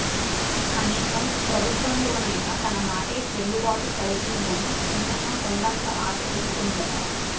కనీసం ప్రభుత్వంలోనైనా తన మాటే చెల్లుబాటు అవుతుందని చిన్నమ్మ కొండంత ఆశ పెట్టుకుందట